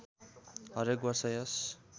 हरेक वर्ष यस